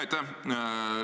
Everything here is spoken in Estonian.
Aitäh!